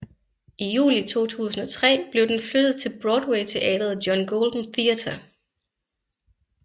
I juli 2003 blev den flyttet til Broadwayteatret John Golden Theater